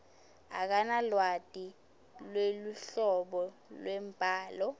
akanalwati lweluhlobo lwembhalo